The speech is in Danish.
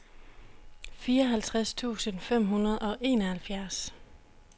fireoghalvtreds tusind fem hundrede og enoghalvfjerds